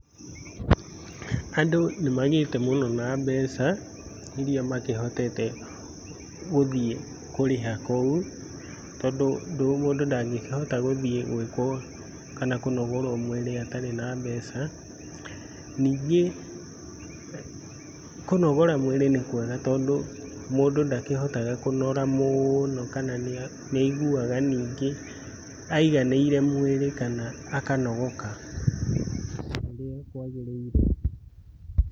Andũ nĩmagĩte mũno na mbeca iria makĩhotete gũthiĩ kũrĩha kũu, tondũ mũndũ ndangĩkĩhota gũthiĩ gũĩkwo kana kũnogorwo mũĩrĩ atarĩ na mbeca. Nyingĩ kũnogora mbeca nĩkwega tondũ ndakĩhotaga kũnora mũno kana nĩaigua nyingĩ aiganĩire mwĩri kana akanogoka o ũrĩa kwagĩrĩire.